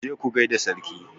Ku je ku gai da sarki!